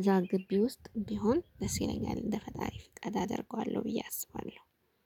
እዛ ግቢ ውስጥ ቢሆን ደስ ይለኛል እንደ ፈጣሪ ፍቃድ አደርገዋለሁ ብዬ አስባለሁ